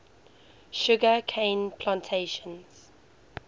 sugar cane plantations